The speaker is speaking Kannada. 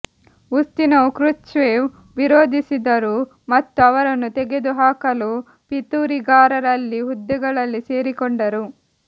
ಉಸ್ತಿನೊವ್ ಕ್ರುಶ್ಚೇವ್ ವಿರೋಧಿಸಿದರು ಮತ್ತು ಅವರನ್ನು ತೆಗೆದುಹಾಕಲು ಪಿತೂರಿಗಾರರಲ್ಲಿ ಹುದ್ದೆಗಳಲ್ಲಿ ಸೇರಿಕೊಂಡರು